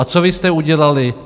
A co vy jste udělali?